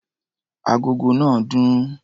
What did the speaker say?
Agogo náà dún.